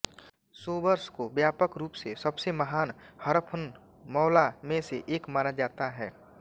Sobers को व्यापक रूप से सबसे महान हरफनमौला में से एक माना जाता है